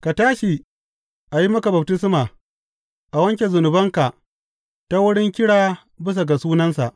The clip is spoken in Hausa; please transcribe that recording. Ka tashi, a yi maka baftisma, a wanke zunubanka, ta wurin kira bisa ga sunansa.’